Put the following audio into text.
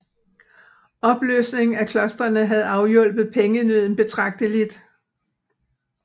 Opløsningen af klostrene havde afhjulpet pengenøden betragteligt